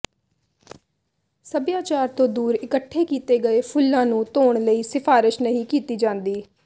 ਸੱਭਿਆਚਾਰ ਤੋਂ ਦੂਰ ਇਕੱਠੇ ਕੀਤੇ ਗਏ ਫੁੱਲਾਂ ਨੂੰ ਧੋਣ ਲਈ ਸਿਫਾਰਸ਼ ਨਹੀਂ ਕੀਤੀ ਜਾਂਦੀ